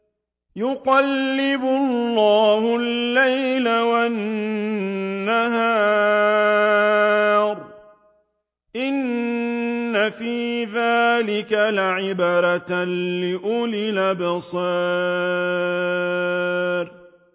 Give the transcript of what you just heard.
يُقَلِّبُ اللَّهُ اللَّيْلَ وَالنَّهَارَ ۚ إِنَّ فِي ذَٰلِكَ لَعِبْرَةً لِّأُولِي الْأَبْصَارِ